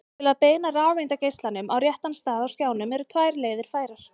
til að beina rafeindageislanum á réttan stað á skjánum eru tvær leiðir færar